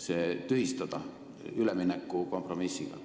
see tühistada, nad olid nõus üleminekukompromissiga.